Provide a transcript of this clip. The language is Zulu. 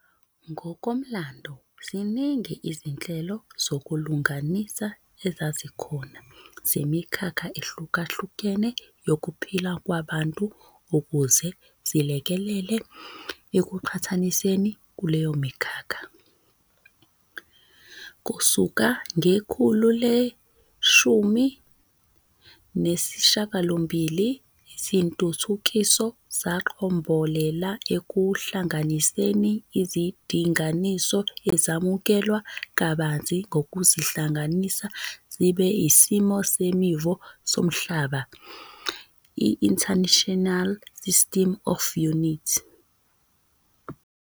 Ngokomlando, ziningi izinhlelo zokulunganisa ezazikhona zemikhakha ehlukahlukene yokuphila kwabantu ukuze zilekelele ekuqhathaniseni kuleyo mikhakha. Kusuka ngekhulu le-18, izintuthukiso zaqombolela ekuhkanganiseni, izindinganiso ezamukelwe kabanzi ngokuzihlanganisa zibe isimiso semivo somhlaba, International System of Units, SI.